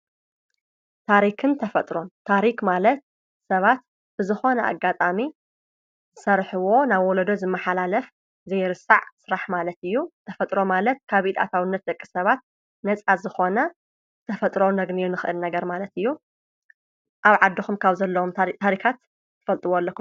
ታሪክን ተፈጥሮ ታሪኽ ማለት ሰባት ብዝኾነ ኣጋጣሚ ዝሠርሕዎ ናብ ወለዶ ዝመኃላለፍ ዘይርሳዕ ሥራሕ ማለት እዩ ተፈጥሮ ማለት ካቢኢድ ኣታውነት ደቂ ሰባት ነፃ ዝኾነ ተፈጥሮ ነግንዮ ንኽእል ነገር ማለት እዩ ።ኣብ ዓድኹም ካብ ዘለዎም ታሪካት ትፈልጥዎ ኣለኹ?